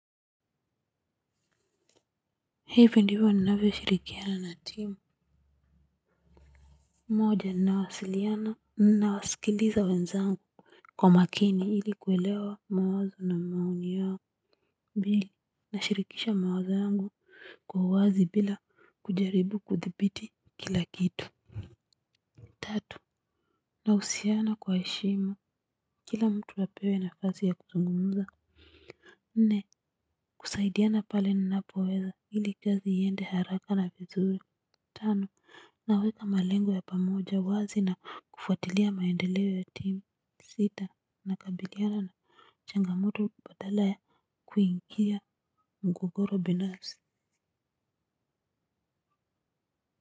Hivi ndiyo huwa ninavyo shirikiana na timu. Moja nawasiliana na wasikiliza wenzangu. Kwa makini ili kuelewa mawazo na maoni yao mbili nashirikisha mawazo yangu kwa uwazi bila kujaribu kuthibiti kila kitu. Tatu na husiana kwa heshima kila mtu apewe nafasi ya kuzungumza. Nne kusaidiana pale ninapo weza ili kazi iende haraka na vizuri. Tano naweka malengo ya pamoja wazi na kufuatilia maendeleo ya team sita na kabiliana na changamoto badala ya kuingia mgogoro binasi.